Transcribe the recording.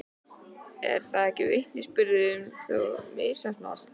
Er það ekki vitnisburður um að sú stefna hafi misheppnast?